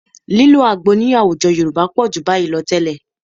Lílo àgbo ní àwùjọ Yorùbá pọ̀ jù nínú báyìí lọ tẹ́lẹ̀